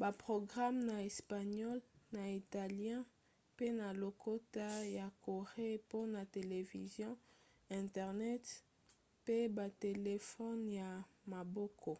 baprograme na espagnole na italien pe na lokota ya corée mpona television internet pe batelefone ya maboko